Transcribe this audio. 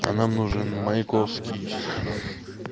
а нам нужен маяковский